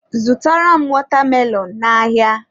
Zụtara m watermelon n'ahịa!.